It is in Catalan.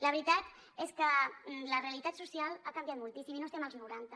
la veritat és que la realitat social ha canviat moltíssim i no estem als noranta